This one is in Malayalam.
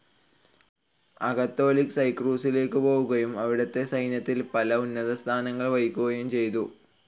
അകത്തോലിക് സൈറാക്കൂസിലേക്കു പോവുകയും അവിടത്തെ സൈന്യത്തിൽ പല ഉന്നതസ്ഥാനങ്ങൾ വഹിക്കുകയും ചെയ്തു.